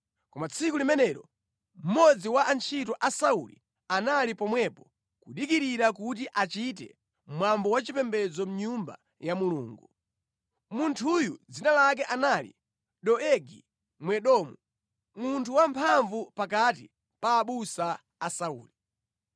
Koma tsiku limenelo mmodzi wa antchito a Sauli anali pomwepo kudikirira kuti achite mwambo wa chipembedzo mʼnyumba ya Mulungu. Munthuyu dzina lake anali Doegi Mwedomu, munthu wamphamvu pakati pa abusa a Sauli.